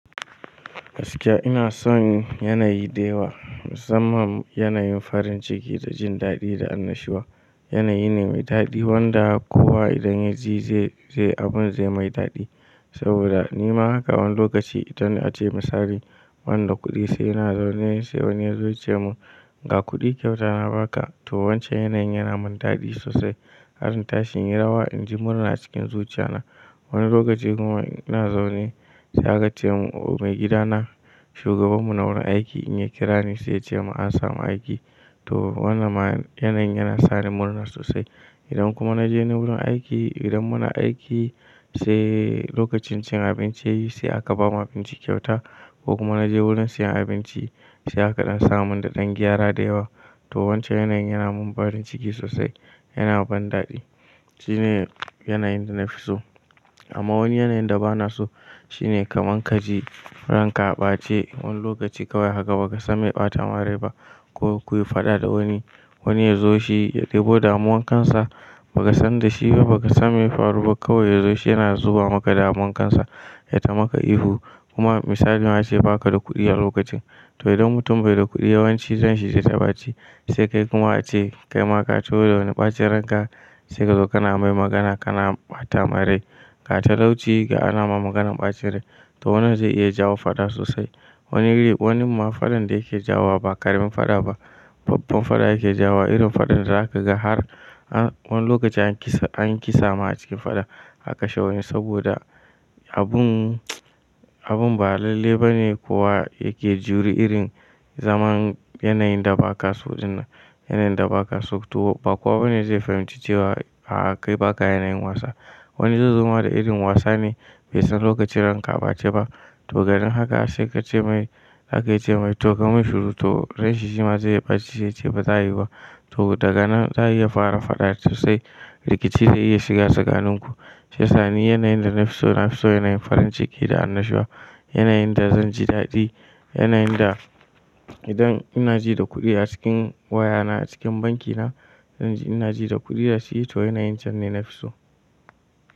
Gaskiya ina son yanayi da yawa, musamman yanayin farinciki da jin daɗi da annashuwa. Yanayi ne mai daɗi wanda kowa idan ya ji zai, zai abun zai mai daɗi. Saboda nima haka wani lokaci idan ace misali banda kuɗi sai ina zaune sai wani ya zo ya ce mun ga kuɗi kyauta na ba ka to wancan yanayin yana mun daɗi sosai. Har in tashi inyi rawa inji murna a cikin zuciya na. Wani lokaci kuma ina zaune sai aka ce mun o mai gida na shugaban mu na wurin aiki in ya kira ni sai ya ce mun an samu aiki to wannan ma yanayin yana sani murna sosai. Idan kuma na je ni wurin aiki idan muna aiki sai lokacin cin abinci yayi sai aka bamu abinci kyauta ko kuma na je wurin siyan abinci sai aka dan samun daɗan gyara da yawa to wancan yanayin yana mun farin ciki sosai, yana ban daɗi. Shine yanayin da nafi so. Amma wani yanayin da ba na so shine kaman ka ji ranka a ɓace wani lokaci kawai haka ba ka san mai ya ɓata ma rai ba ko kuyi faɗa da wani. Wani ya zo shi ya ɗebo damuwan kansa ba ka san da shi ba ba ka san me ya faru ba kawai ya zo shi yana zuba maka damuwan kansa ya ta maka ihu kuma misalin ace ba ka da kuɗi a lokacin. To idan mutum bai da kuɗi yawanci ran shi zai ta ɓace sai kai kuma ace kai ma ka taho da wani ɓacin ranka sai ka zo kana mai magana kana ɓata mai rai. Ga talauci ga ana ma maganan ɓacin rai to wannan zai iya jawo faɗa sosai. Wani, wani ma faɗan da yake jawo ba ƙaramin faɗa ba, babban faɗa yake jawo irin faɗan da zaka ga har wani lokaci an kisa, an kisa ma a cikin faɗa. A kashe wani saboda abun, abun ba lalle ba ne kowa yake juri irin zaman yanayin da baka so dinnan. Yanayin da baka so to ba kowa bane zai fahimci cewa a'a kai baka yanayin wasa. Wani zai zo ma da irin wasa ne bai san lokacin ranka a ɓace ba to ganin haka sai ka ce mai zaka iya ce mai to kai mun shuru to ransa shi ma zai iya ɓace sai ya ce ba za ayi ba. To daga nan za a iya fara faɗa sosai. Rikici zai iya shiga tsakanin ku. Shiyasa ni yanayin da na fi so, na fi son yanayin farinciki da annashuwa. Yanayin da zan ji daɗi, yanayin da idan ina ji da kuɗi a cikin waya na a cikin banki na zanji ina ji da kuɗi a ciki to yanayin cen ne na fi so.